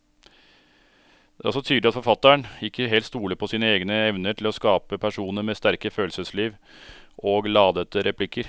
Det er også tydelig at forfatteren ikke helt stoler på sine egne evner til å skape personer med sterke følelsesliv og ladete replikker.